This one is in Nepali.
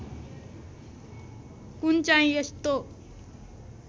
कुन चाहिँ यस्तो